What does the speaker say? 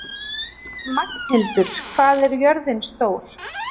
Magnhildur, hvað er jörðin stór?